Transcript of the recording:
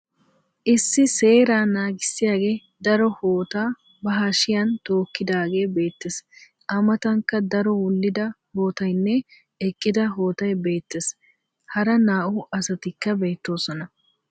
Issi seeraa naagissiyagee daro hootaa ba hashiyan tookkidaagee beettes. A matankka daro wullida hootayinne eqqida hootay beettes. Hara naa"u asatikka beettoosona.